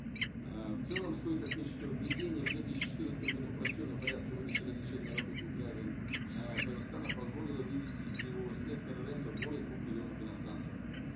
э в целом стоит отметить что введение в две тысячи четырнадцатом году упрощенного порядка выдачи разрешений на работу граждан ааа казахстана позволило вывести из теневого сектора рынка более двух миллионов иностранцев